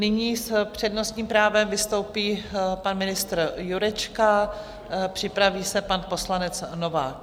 Nyní s přednostním právem vystoupí pan ministr Jurečka, připraví se pan poslanec Novák.